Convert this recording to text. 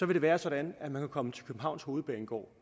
det være sådan at man kan komme til københavns hovedbanegård